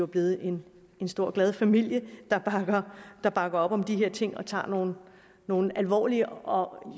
blevet en stor glad familie der bakker op om de her ting og tager nogle nogle alvorlige og